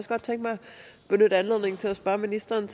benytte anledningen til at spørge ministeren